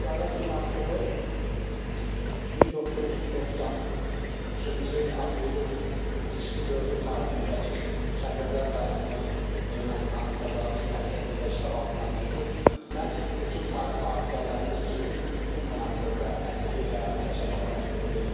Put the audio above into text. Xudavəng monastırı 1993-cü il aprelin ikisi dördü tarixində ki, Kəlbəcər rayonumuz Ermənistanın təcavüzü nəticəsində işğal altına düşdü, məhz bütün tarixi abidələrimiz kimi bu monastırda əsirlik həyatı yaşamağa məhkum edildi.